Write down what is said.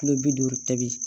Kilo bi duuru tobi